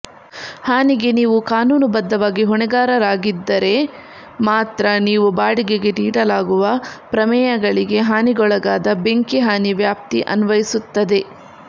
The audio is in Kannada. ಹಾನಿಗೆ ನೀವು ಕಾನೂನುಬದ್ಧವಾಗಿ ಹೊಣೆಗಾರರಾಗಿದ್ದರೆ ಮಾತ್ರ ನೀವು ಬಾಡಿಗೆಗೆ ನೀಡಲಾಗುವ ಪ್ರಮೇಯಗಳಿಗೆ ಹಾನಿಗೊಳಗಾದ ಬೆಂಕಿ ಹಾನಿ ವ್ಯಾಪ್ತಿ ಅನ್ವಯಿಸುತ್ತದೆ